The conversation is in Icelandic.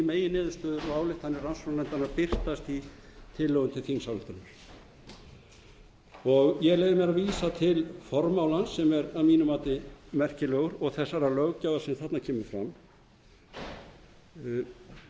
meginniðurstöður og ályktanir rannsóknarnefndar eru að birtast í tillögu til þingsályktunar ég leyfi mér að vísa til formálans sem er að mínu mati merkilegur og þess sem þarna kemur fram